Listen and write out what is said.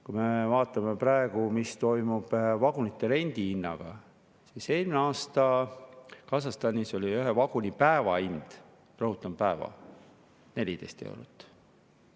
Kui me vaatame praegu, mis toimub vagunite rendi hinnaga, siis eelmine aasta oli Kasahstanis ühe vaguni päevatasu – rõhutan, päevatasu – 14 eurot.